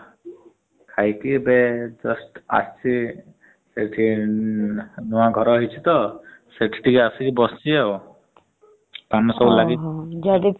ଖାଇକି ଏବେ just ଆସି ଏଠି ନୂଆ ଘର ହେଇଛି ତ ସେଠି ଟିକେ ଆସି ବସିଛି ଆଉ । ପାନ ସବୁ ଲାଗିଛି ।